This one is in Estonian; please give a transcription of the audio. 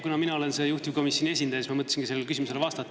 Kuna mina olen juhtivkomisjoni esindaja, siis ma mõtlesin sellele küsimusele vastata.